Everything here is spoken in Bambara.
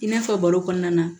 I n'a fɔ baro kɔnɔna na